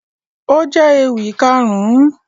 Ó jẹ́ ewì Kàrún